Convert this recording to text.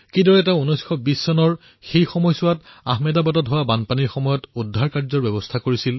কিদৰে তেওঁ ১৯২০ৰ দশকত আহমেদাবাদত হোৱা বানপানীত সাহাৰ্যৰ ব্যৱস্থা কৰিছিল